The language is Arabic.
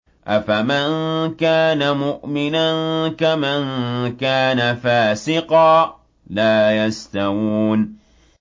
أَفَمَن كَانَ مُؤْمِنًا كَمَن كَانَ فَاسِقًا ۚ لَّا يَسْتَوُونَ